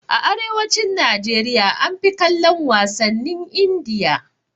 A arewacin Najeriya an fi kallon wasannin Indiya